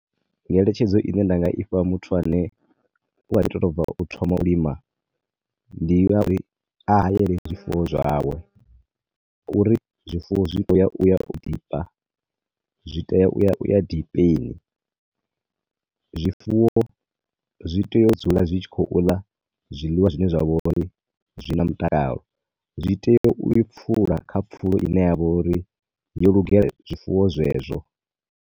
Ngeletshedzo ine ndi nga ifha muthu ane u kha ḓi to bva u thoma u lima ndi ya uri a hayele zwifuwo zwawe, uri zwifuwo zwi khou ya u ya u dipa, zwi teya u ya u ya dipeni. Zwifuwo zwi tea u dzula zwi tshi khou ḽa zwiḽiwa zwine zwa vho uri zwi na mutakalo. Zwi tea u pfula kha pfulo ine ya vha uri yo lugela zwifuwo zwezwo.